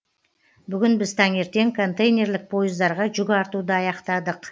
бүгін біз таңертең контейнерлік пойыздарға жүк артуды аяқтадық